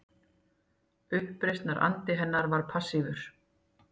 Uppreisnarandi hennar var passífur